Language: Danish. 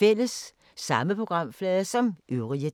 Samme programflade som øvrige dage